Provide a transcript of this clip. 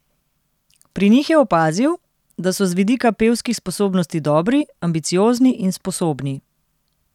Pri njih je opazil, da so z vidika pevskih sposobnosti dobri, ambiciozni in sposobni.